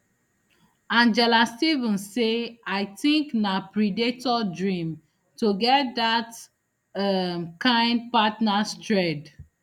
angela stevens say i tink na predator dream to get dat um kain partners thread